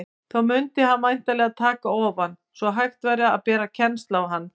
Þá mundi hann væntanlega taka ofan, svo hægt væri að bera kennsl á hann.